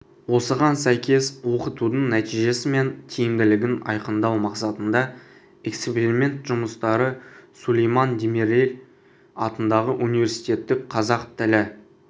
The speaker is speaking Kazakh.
осыған сәйкес оқытудың нәтижесі мен тиімділігін айқындау мақсатында эксперимент жұмыстары сулейман демирель атындағы университеттің қазақ тілі